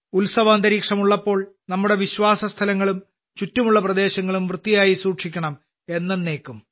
ഉത്സവാന്തരീക്ഷം ഉള്ളപ്പോൾ നമ്മുടെ വിശ്വാസസ്ഥലങ്ങളും ചുറ്റുമുള്ള പ്രദേശങ്ങളും വൃത്തിയായി സൂക്ഷിക്കണം എന്നന്നേയ്ക്കും